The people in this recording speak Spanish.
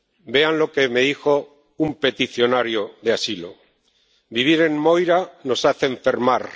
Vean lo que me dijo un peticionario de asilo Vivir en Moira nos hace enfermar